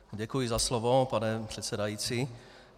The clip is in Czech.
Děkuji za slovo, pane předsedající.